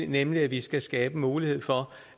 nemlig at vi skal skabe mulighed for